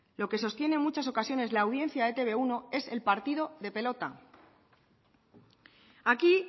lo que sostiene muchas ocasiones la audiencia de etb uno es el partido de pelota aquí